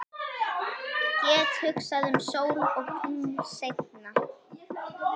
Get hugsað um sól og tungl seinna.